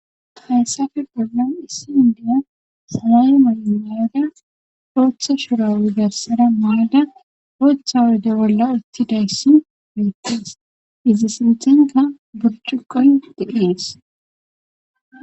Hayssape bollan issi indiya salay may maada ooththa shura wigassada maada ooththa ude bolla uttidayssi miittes izza sinthinka burcuqon deees.